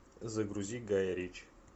загрузи гая ричи